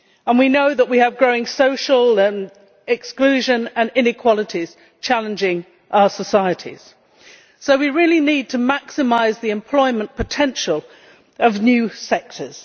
We know that we have growing social exclusion and inequalities challenging our societies. So we really need to maximise the employment potential of new sectors.